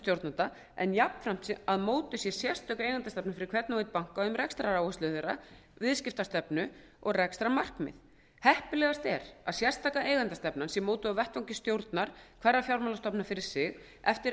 stjórnenda en jafnframt að mótuð sé sérstök eigendastefna fyrir hvern og einn banka um rekstraráherslur þeirra viðskiptastefnu og rekstrarmarkmið heppilegast er að sérstaka eigendastefnan sé mótuð á vettvangi stjórnar hverrar fjármálastofnunar fyrir sig eftir